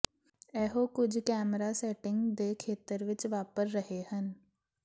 ਇਹੋ ਕੁਝ camera setting ਦੇ ਖੇਤਰ ਵਿੱਚ ਵਾਪਰ ਰਹੇ ਹਨ